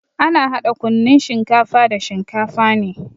Ana hada kunnun shinkafa da shinkafa ne.